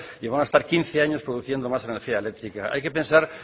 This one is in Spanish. y van a estar quince años produciendo más energía eléctrica hay que pensar